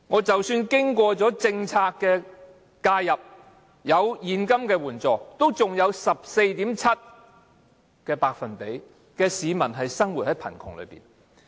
即使經過政策介入，讓一些人得到現金援助，但仍然有 14.7% 的市民生活於貧窮之中。